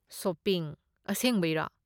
Shopping? ꯑꯁꯦꯡꯕꯩꯔꯣ?